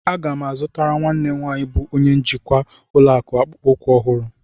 Aga m azụtara nwanne m nwaanyị bụ onye njikwa ụlọakụ akpụkpọ ụkwụ ọhụrụ.